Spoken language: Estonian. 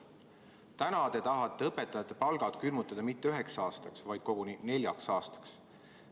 Täna tahate te õpetajate palgad külmutada mitte üheks aastaks, vaid koguni neljaks aastaks.